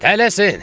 Tələsin!